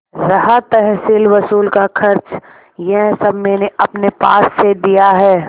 रहा तहसीलवसूल का खर्च यह सब मैंने अपने पास से दिया है